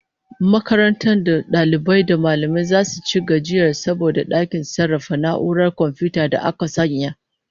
Makarantar da dalibai da mallamai zasu ci gajiyar sabon dakin sarrafa na'urar komfiyuta da aka sanya